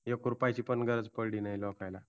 एक रुपयाची पण गरज पडली नाय लोकांना